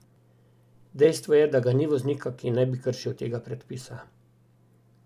Dejstvo je, da ga ni voznika, ki ne bi kršil tega predpisa.